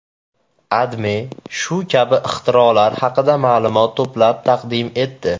AdMe shu kabi ixtirolar haqida ma’lumot to‘plab taqdim etdi.